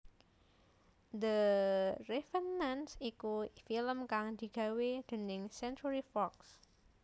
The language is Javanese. The Revenant iku film kang digawé déning Century Fox